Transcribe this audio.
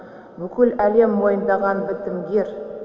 бүкіл әлем мойындаған бітімгер